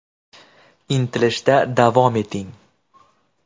Intilishda davom eting!